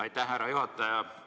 Aitäh, härra juhataja!